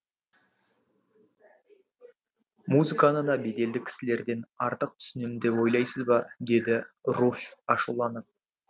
музыканы да беделді кісілерден артық түсінемін деп ойлайсыз ба деді руфь ашуланып